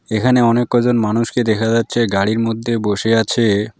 এখানে অনেক কয়জন মানুষকে দেখা যাচ্ছে গাড়ির মধ্যে বসে আছে।